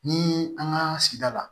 Ni an ka sigida la